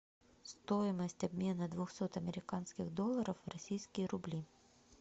стоимость обмена двухсот американских долларов в российские рубли